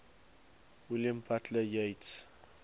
william butler yeats